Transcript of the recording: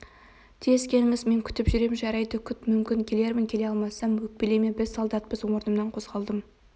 тез келіңіз мен күтіп жүрем жарайды күт мүмкін келермін келе алмасам өкпелеме біз солдатпыз орнымнан қозғалдым